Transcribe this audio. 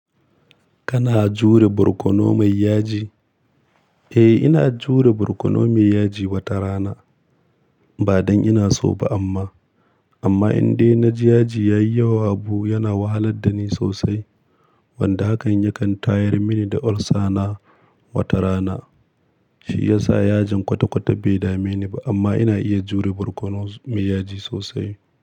Kana jure borkono mai yaji? Eh, ina jure borkono mai yaji wata rana. Ba don ina so ba amma, amma indai na ji yaji ya yi yawa, abu yana wahalar da ni sosai. Wanda hakan ya kan tayar mini da olsa na wata rana. Shi ya sa yajin kwata-kwata bai dame ni ba. Amma ina iya jure borkono mai yaji sosai.